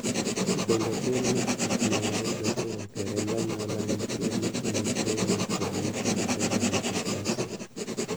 bende pim mar gik mwayudo kowuok e remb anyuola nitie ne tuo mar congenital adrenal hyperplasia